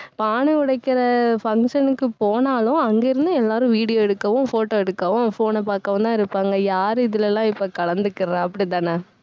பானை உடைக்கிற, function க்கு போனாலும் அங்கிருந்து எல்லாரும் video எடுக்கவும் photo எடுக்கவும் phone அ பாக்கவும்தான் இருப்பாங்க. யாரு இதுலலாம் இப்ப கலந்துக்குறா அப்படிதானே